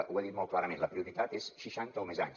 ho ha dit molt clarament la prioritat és seixanta o més anys